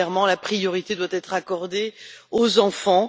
La priorité doit être accordée aux enfants.